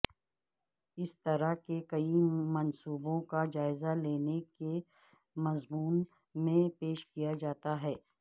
اس طرح کے کئی منصوبوں کا جائزہ لینے کے مضمون میں پیش کیا جاتا ہے